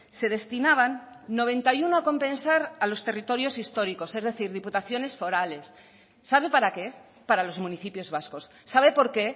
se destinaban noventa y uno a compensar a los territorios históricos es decir diputaciones forales sabe para qué para los municipios vascos sabe por qué